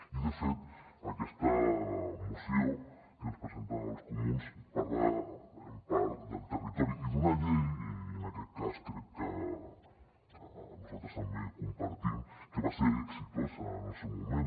i de fet aquesta moció que ens presenten els comuns parla en part del territori i d’una llei i en aquest cas nosaltres també ho compartim que va ser exitosa en el seu moment